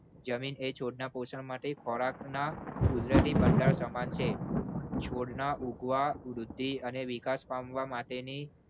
જમીન એ છોડના પોષણ માટે ખોરાકના કુદરતી ભંડાર સમાન છે. છોડના ઉગવા વૃદ્ધિ અને વિકાસ પામવા માટેની